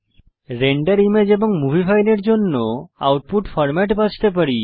render image এবং movie ফাইলের জন্য আউটপুট ফরম্যাট বাছতে পারি